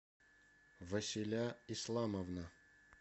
василя исламовна